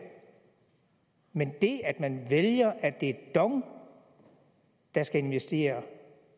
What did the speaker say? men det at man vælger at det er dong der skal investere